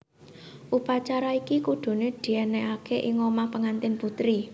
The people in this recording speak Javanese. Upacara iki kudune dienekake ing omah pengantin putri